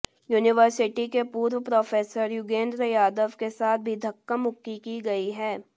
university के पूर्व professor Yogendra Yadav के साथ भी धक्का मुक्की की गई है